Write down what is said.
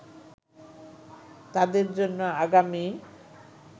তাদের জন্য আগামী